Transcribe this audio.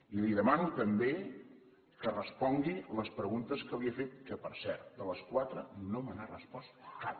i li demano també que respongui les preguntes que li he fet que per cert de les quatre no me n’ha respost cap